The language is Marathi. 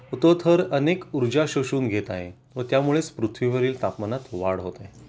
तो थर अनेक ऊर्जा शोषून घेत आहे व त्यामुळेच पृथ्वीवरील तापमानात वाढ होते